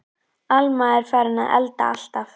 Alma er farin að elda alltaf.